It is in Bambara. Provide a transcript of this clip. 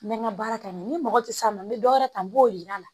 N bɛ n ka baara kɛ n ye ni mɔgɔ tɛ s'a ma n bɛ dɔ wɛrɛ ta n b'o yir'a la